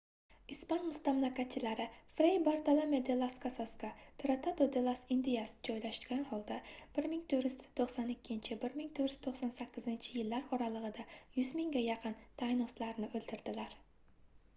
ispan mustamlakachilari frey bartolome de las casasga tratado de las indias joylashgan holda 1492–1498-yillar oralig'ida 100 mingga yaqin taynoslarni o'ldirdilar